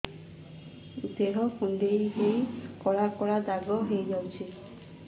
ଦେହ କୁଣ୍ଡେଇ ହେଇ କଳା କଳା ଦାଗ ହେଇଯାଉଛି